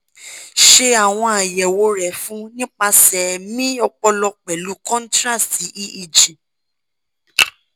ṣe awọn ayẹwo rẹ fun nipasẹ mri ọpọlọ pẹlu contrast eeg